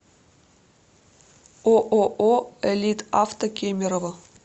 ооо элитавто кемерово